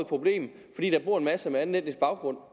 problem fordi der bor en masse med anden etnisk baggrund